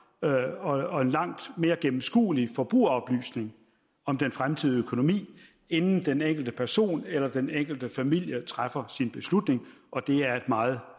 og langt mere gennemskuelig forbrugeroplysning om den fremtidige økonomi inden den enkelte person eller den enkelte familie træffer sin beslutning og det er et meget